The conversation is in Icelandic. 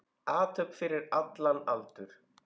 Athöfn fyrir allan aldur.